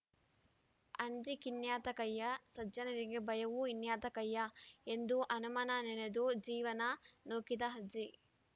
ಅಂಜೀಕಿನ್ಯಾತಕಯ್ಯ ಸಜ್ಜನರಿಗೆ ಭಯವೂ ಇನ್ಯಾತಕಯ್ಯಾ ಎಂದು ಹನುಮನ ನೆನೆದು ಜೀವನ ನೂಕಿದ ಅಜ್ಜಿ